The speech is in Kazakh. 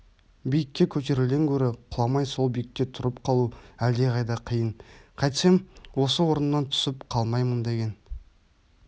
биікке көтерілуден гөрі құламай сол биікте тұрып қалу әлдеқайда қиын қайтсем осы орнымнан түсіп қалмаймын деген